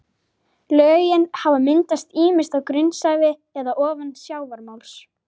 Lögin hafa myndast ýmist á grunnsævi eða ofan sjávarmáls.